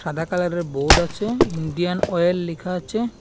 কমলা কালারের বোর্ড আছে Indian Oil লেখা আছে।